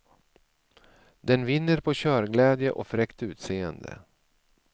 Den vinner på körglädje och fräckt utseende.